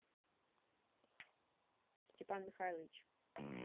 степан михайлович